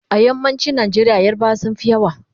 a yammacin Nigeria yarbawa sunfi yawa